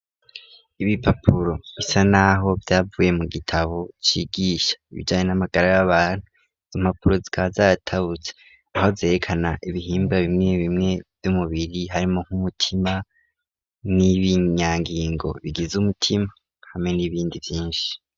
Ibi papuro bisa, naho vyavuye mu gitabo cigisha bijanye n'amagara b' abantu zompapuro zwa zatawuza aho zerekana ibihimba bimwe bimwe vy'umubiri harimo nk'umutima n'ibinyangingo bigize umutima hamwe n'ibindi vyinshi.